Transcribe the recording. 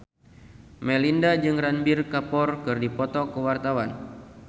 Melinda jeung Ranbir Kapoor keur dipoto ku wartawan